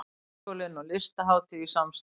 Háskólinn og Listahátíð í samstarf